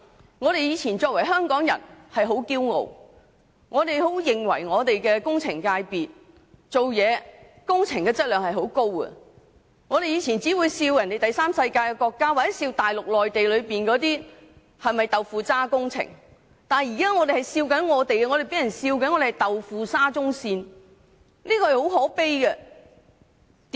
我們過往以身為香港人為傲，認為香港的建築工程質量很高，還取笑第三世界國家或內地的"豆腐渣"工程，但我們現在反被取笑興建"豆腐沙中線"，真的很可悲。